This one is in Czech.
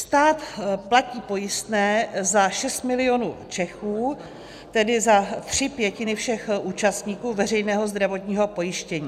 Stát platí pojistné za 6 mil. Čechů, tedy za tři pětiny všech účastníků veřejného zdravotního pojištění.